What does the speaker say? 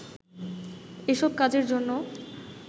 এসব কাজের জন্য